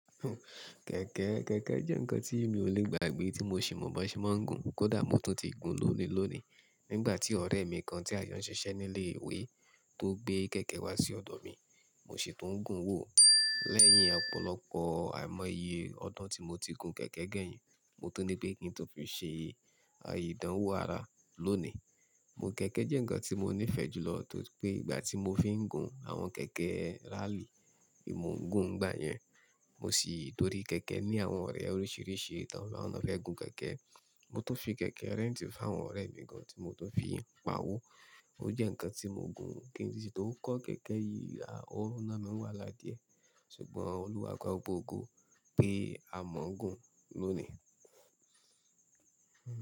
Kẹ̀kẹ́, kẹ̀kẹ́ jẹ́ ǹkan tí mi ò lè gbàgbé tí mo sì mọ̀ bó ṣe máa ń gùn. Kódà mo tún ti gùn lóni lóní. Nígbà tí ọ̀rẹ́ mi kan tí a yàn ṣiṣẹ́ ní ilé ìwé tó gbé kẹ̀kẹ́ wá sí ọ̀dọ̀ mi, mo sì tún gùn wò ó. Lẹ́yìn ọ̀pọ̀lọpọ̀ àìmọye ọdún tí mo ti gùn kẹ̀kẹ́ kẹ́yìn, mo tún ní pé kí n tun fi ṣe ìdánwò ara lónìí. Kẹ̀kẹ́ jẹ́ ǹkan tí mo nífẹ̀ẹ́ jù lọ tóri pé ìgbà tí mo fi ń gùn àwọn kẹ̀kẹ́ rally, ni mo ń gùn n gbá yẹn. Mo sì torí kẹ̀kẹ́ ní àwọn ọ̀rẹ́ oríṣiríṣi, tan maa n fe gùn kẹ̀kẹ́. Mo tún fi kẹ̀kẹ́ rent fún àwọn ọ̀rẹ́ mi gan tí mo tún fi ń pa owó. Ó jẹ́ ǹkan tí mo ń gùn kí n sì tó kọ́ kẹ̀kẹ́ yìí, a o ná mi n wàhala diẹ̀. Ṣùgbọ́n Olúwa gba gbògbo ogo pe a mọ̀ ń gùn lónìí.